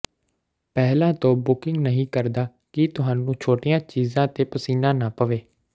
ਪਹਿਲਾਂ ਤੋਂ ਬੁਕਿੰਗ ਨਹੀਂ ਕਰਦਾ ਕਿ ਤੁਹਾਨੂੰ ਛੋਟੀਆਂ ਚੀਜ਼ਾਂ ਤੇ ਪਸੀਨਾ ਨਾ ਪਵੇ